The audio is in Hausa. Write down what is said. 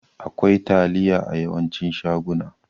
Akwai taliya a yawancin shaguna.